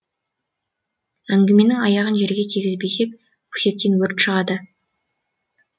әңгіменің аяғын жерге тигізбесек өсектен өрт шығады